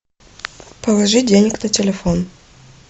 положи денег на телефон